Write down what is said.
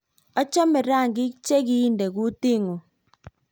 achame rangiik che kinte kutinguung